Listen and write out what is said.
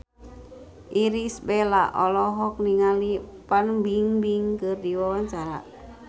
Irish Bella olohok ningali Fan Bingbing keur diwawancara